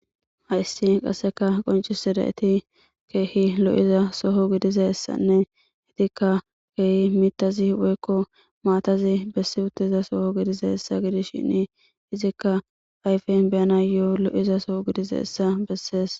Hayssi qassekka qonccisizati keehi lo7iza soho gidizayssanne etikka keehi miththazi woykko maatazi bessi utiza soho gidizaayssa gidishin ezikka ayfen be7anaayo lo7iza soho gidizayssa besees.